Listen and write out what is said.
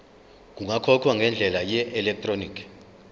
kungakhokhwa ngendlela yeelektroniki